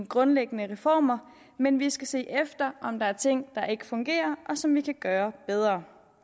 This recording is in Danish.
grundlæggende reformer men vi skal se efter om der er ting der ikke fungerer og som vi kan gøre bedre